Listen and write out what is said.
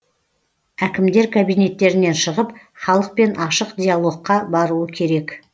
әкімдер кабинеттерінен шығып халықпен ашық диалогқа баруы керек